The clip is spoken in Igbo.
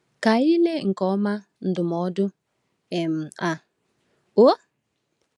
Ka anyị lee nke ọma ndụmọdụ um a. um